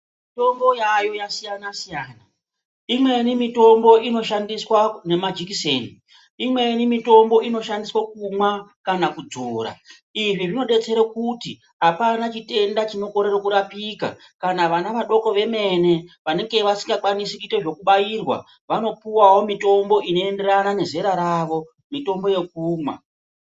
Mitombo yaayo yasiyana siyana. Imweni mitombo inoshandiswa ngemajekiseni. Imweni mitombo inoshandiswa kumwa kana kudzora. Izvi zvinodetsera kuti apana chitenda chinokorere kurapika. Kana vana vadoko vemene vanenge vasingakwanisi kuite zvekubairwa vanopiwawo mitombo inoenderana nezera ravo, mitombo yekumwa.